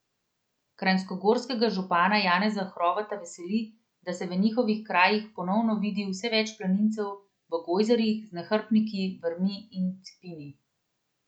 Kranjskogorskega župana Janeza Hrovata veseli, da se v njihovih krajih ponovno vidi vse več planincev v gojzarjih, z nahrbtniki, vrvmi in cepini.